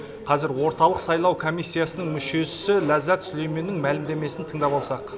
қазір орталық сайлау комиссиясының мүшесі ләззат сүлейменнің мәліметін тыңдап алсақ